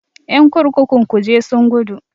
Ƴan kurkukun kuje sun gudu.